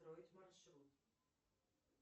построить маршрут